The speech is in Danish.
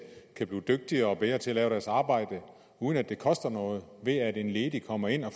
kan blive dygtigere og bedre til at lave deres arbejde uden at det koster noget ved at en ledig kommer ind og